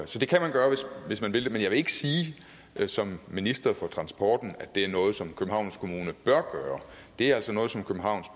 så det kan man gøre hvis man vil det men jeg vil ikke sige som minister for transporten at det er noget som københavns kommune bør gøre det er altså noget som københavns